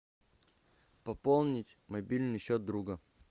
пополнить мобильный счет друга